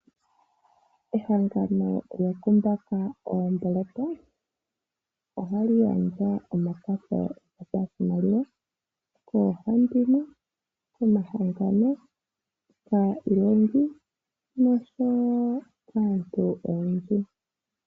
Ehangano lyokumbaka oomboloto ohali gandja omakwatho gopashimaliwa koohandimwe, komahangano ,kayilongi, noshowo kaantu oyendji.